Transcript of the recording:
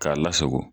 K'a lasago